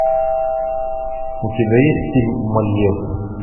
у тебя есть фильм мольер